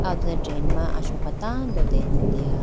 ah ho done train ma asoka tando dega.